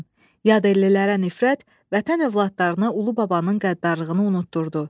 Yad ellilərə nifrət vətən övladlarına ulu babanın qəddarlığını unutdurdu.